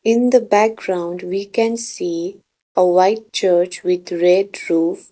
in the background we can see a white church with red roof.